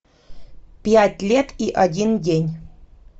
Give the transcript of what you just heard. пять лет и один день